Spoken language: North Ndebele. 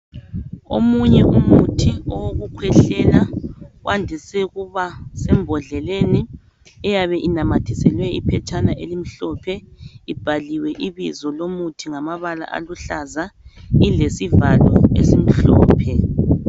Omunye umuthi owokukhwehlela wandise ukuba sembodleleni eyabe inamathiselwe iphetshana elimhlophe ibhaliwe ibizo lomuthi ngamabala aluhlaza ilesivalo esimhlophe.